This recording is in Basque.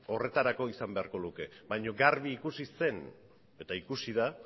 horretarako izan beharko luke baina garbi ikusi zen eta ikusi da